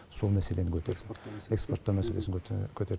сол мәселені көтерді экспорттау мәселесін көтер